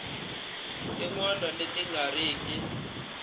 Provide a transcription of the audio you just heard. tin wana leti nga riki